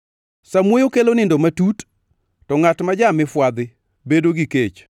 Samuoyo kelo nindo matut, to ngʼat ma ja-mifwadhi bedo gi kech.